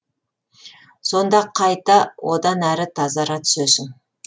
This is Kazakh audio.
сонда қайта одан әрі тазара түсесің